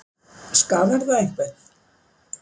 Skaðar það einhvern?